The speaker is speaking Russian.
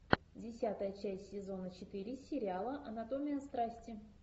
десятая часть сезона четыре сериала анатомия страсти